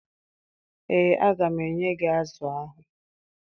Ee, aga m enye gị azụ ahụ